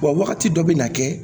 Wa wagati dɔ bɛ na kɛ